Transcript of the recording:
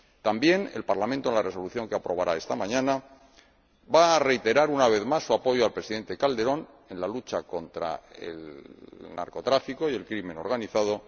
También el Parlamento, en la resolución que aprobará esta mañana, va a reiterar, una vez más, su apoyo al Presidente Calderón en la lucha contra el narcotráfico y el crimen organizado